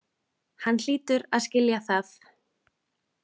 Hann hlýtur að skilja það.